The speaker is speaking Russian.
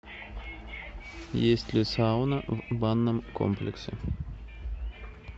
есть ли сауна в банном комплексе